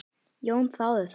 Jón þáði það.